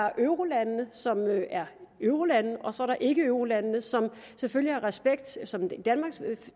er eurolandene som er eurolande og så er der ikkeeurolandene som selvfølgelig har respekt som i danmarks